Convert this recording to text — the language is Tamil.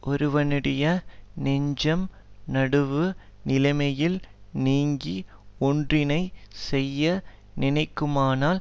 ஒருவனுடைய நெஞ்சம் நடுவு நிலைமையில் நீங்கி ஒன்றினைச் செய்ய நினைக்குமானால்